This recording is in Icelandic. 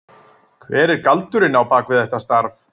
Hver er galdurinn á bak við þetta starf?